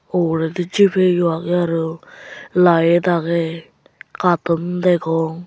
uguredi gipay iyo agey aro light agey caton degong.